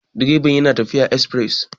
direban yana tafiya a esfires